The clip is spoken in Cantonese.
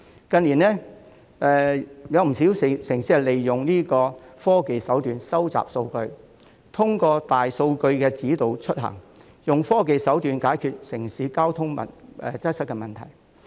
近年，有不少城市利用科技收集數據，透過大數據指導出行，以科技手段解決城市交通擠塞的問題。